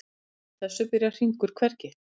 Samkvæmt þessu byrjar hringur hvergi.